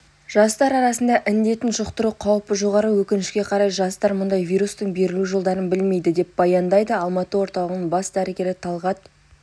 жастар арасында індетін жұқтыру қаупі жоғары өкінішке қарай жастар мұндай вирустың берілу жолдарын білмейді деп баяндады алматы орталығының бас дәрігері талғат